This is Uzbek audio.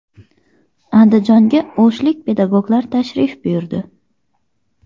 Andijonga o‘shlik pedagoglar tashrif buyurdi.